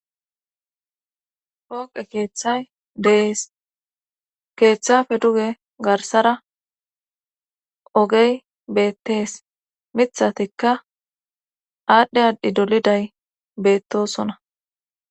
Pooqe keeththay dees keeththafe duge garsara ogey beettees mithatikka aadhdhe aadhi doliday beettosona